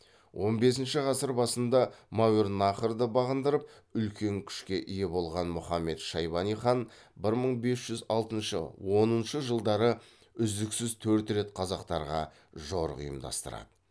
он бесінші ғасыр басында мәуереннахрды бағындырып үлкен күшке ие болған мұхаммед шайбани хан бір мың бес жүз алтыншы оныншы жылдары үздіксіз төрт рет қазақтарға жорық ұйымдастырады